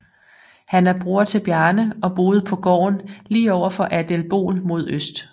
Han er bror til Bjarne og boede på gården lige over for Adelból mod øst